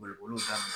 Boli boliw taa